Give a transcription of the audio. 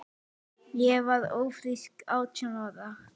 Ég varð ófrísk átján ára.